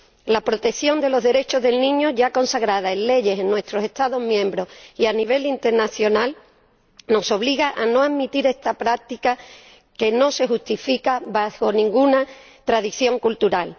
La protección de los derechos del niño ya consagrada en leyes en nuestros Estados miembros y a nivel internacional nos obliga a no admitir esta práctica, que no se justifica bajo ninguna tradición cultural.